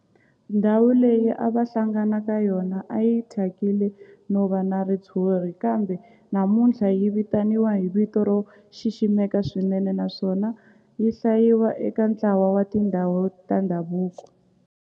Ndhawu leyi a va hlangana ka yona a yi thyakile no va na ritshuri kambe namuntlha yi vitaniwa hi vito ro xiximeka swinene naswona yi hlayiwa eka ntlawa wa tindhawu ta ndhavuko.